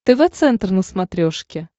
тв центр на смотрешке